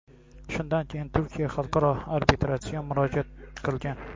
Shundan keyin Turkiya Xalqaro arbitrajga murojaat qilgan.